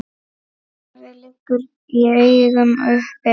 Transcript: Svarið liggur í augum uppi.